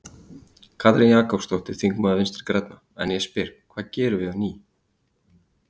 Katrín Jakobsdóttir, þingmaður Vinstri-grænna: En ég spyr, hvað gerum við ný?